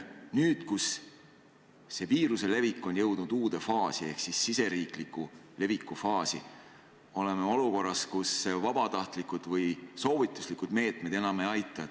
Nüüd, kus viiruse levik on jõudnud uude faasi ehk riigisisese leviku faasi, oleme olukorras, kus vabatahtlikud või soovituslikud meetmed enam ei aita.